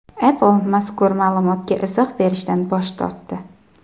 Apple mazkur ma’lumotga izoh berishdan bosh tortdi.